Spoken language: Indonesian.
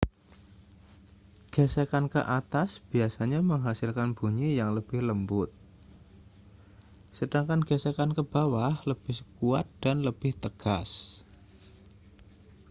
gesekan ke atas biasanya menghasilkan bunyi yang lebih lembut sedangkan gesekan ke bawah lebih kuat dan lebih tegas